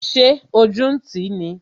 Ṣé ojú ń ti ní?